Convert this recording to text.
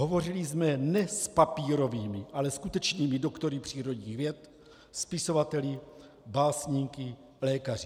Hovořili jsme ne s papírovými, ale skutečnými doktory přírodních věd, spisovateli, básníky, lékaři.